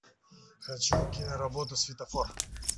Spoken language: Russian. хочу киноработу светофор